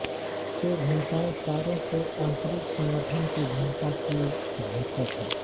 ये भिन्नताएँ तारों के आंतरिक संघटन की भिन्नता की द्योतक हैं